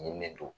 Nin de don